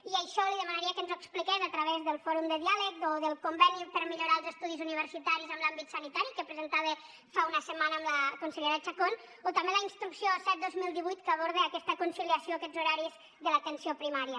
i això li demanaria que ens ho expliqués a través del fòrum de diàleg o del conveni per millorar els estudis universitaris en l’àmbit sanitari que presentava fa una setmana amb la consellera chacón o també la instrucció set dos mil divuit que aborda aquesta conciliació aquests horaris de l’atenció primària